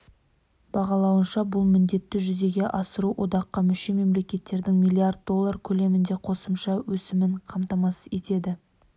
бағалауынша бұл міндетті жүзеге асыру одаққа мүше мемлекеттердің млрд доллар көлемінде қосымша өсімін қамтамасыз етеді